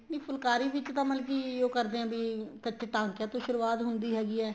ਨਹੀਂ ਫੁਲਕਾਰੀ ਵਿੱਚ ਤਾਂ ਮਤਲਬ ਕੀ ਉਹ ਕਰਦੇ ਹੈ ਵੀ ਕੱਚੇ ਟਾਕਿਆਂ ਤੋ ਸੁਰੂਆਤ ਹੁੰਦੀ ਹੈਗੀ ਏ